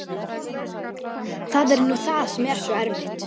Það er nú það sem er svo erfitt.